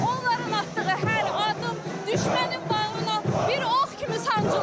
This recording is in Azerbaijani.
Onların atdığı hər addım düşmənin bağrına bir ox kimi sancılır.